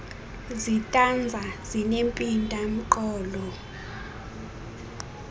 zitanza zinempinda mqolo